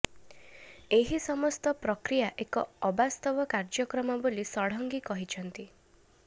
ଏହି ସମସ୍ତ ପ୍ରକ୍ରିୟା ଏକ ଅବାସ୍ତବ କାର୍ଯ୍ୟକ୍ରମ ବୋଲି ଷଡଙ୍ଗୀ କହିଛନ୍ତି